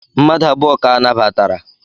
Mmadu abụọ ka anabatara.